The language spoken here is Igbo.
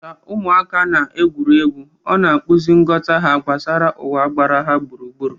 Ka ụmụaka na-eme egwuregwu, ọ na-akpụzi nghọta ha gbasara ụwa gbara ha gburugburu.